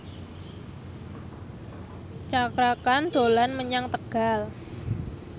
Cakra Khan dolan menyang Tegal